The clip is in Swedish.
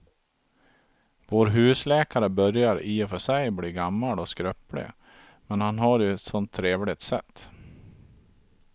Vår husläkare börjar i och för sig bli gammal och skröplig, men han har ju ett sådant trevligt sätt!